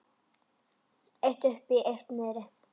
Eitt uppi og eitt niðri.